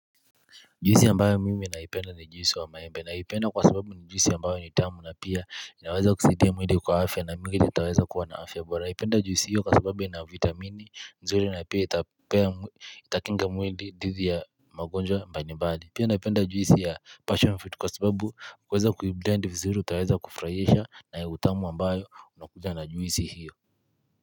Juisi ambayo mimi naipenda ni juisi wa maembe naipenda kwa sababu ni juisi ambayo ni utamu na pia inaweza kusaidia mwili kwa afya na mwili itaweza kuwa na afya bora. Naipenda juisi hiyo kwa sababu na vitamini mzuri na pia itakinga mwili dhidi ya magonjwa mbalimbali. Pia naipenda juisi ya passion fruit kwa sababu kuweza kuiblend vizuri utaweza kufurahishwa na utamu ambayo unakuja na juisi hiyo.